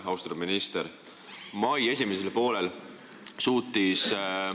Austatud minister!